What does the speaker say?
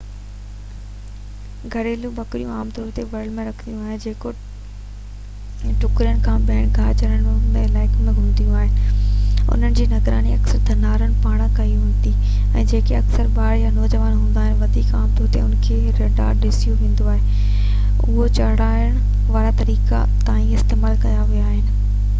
گهريلو ٻڪريون عام طور تي ولر ۾ رکيون وينديون آهن جيڪي ٽڪرين يا ٻين گاهه چرڻ وارن علائقن ۾ گهمنديون آهن انهن جي نگراني اڪثر ڌنارن پاران ڪئي ويندي آهي جيڪي اڪثر ٻار يا نوجوان هوندا آهن وڌيڪ عام طور تي انهن کي ريڍار سڏيو ويندو آهي اهي چرائڻ وارا طريقا تائين استعمال ڪيا ويا آهن